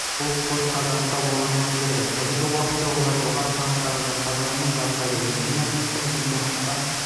бұл спортқа жаста болғанда келді қазіргі уақытта олар жоғары санаттағы жастағылармен жарысады өскемен қысқы чемпионатқа